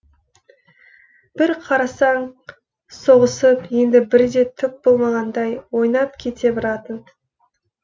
бір қарасаң соғысып енді бірде түк болмағандай ойнап кете баратын